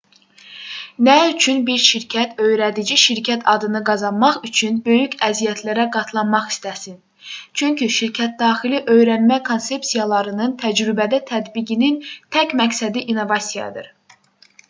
nə üçün bir şirkət öyrədici şirkət adını qazanmaq üçün böyük əziyyətlərə qatlanmaq istəsin çünki şirkətdaxili öyrənmə konsepsiyalarının təcrübədə tətbiqinin tək məqsədi innovasiyadır